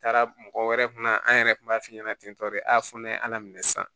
Taara mɔgɔ wɛrɛ kun na an yɛrɛ kun b'a f'i ɲɛna ten tɔ de a fɔ ne ye ala minɛ sisan